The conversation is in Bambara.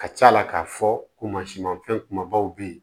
Ka ca ala k'a fɔ ko mansinmafɛn kumabaw bɛ yen